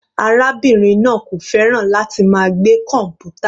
Arábìnrin náà kò fẹ́ràn láti máa gbé kọmputa.